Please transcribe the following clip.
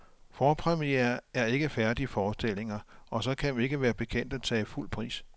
Forpremierer er ikke færdige forestillinger, og så kan vi ikke være bekendt at tage fuld pris.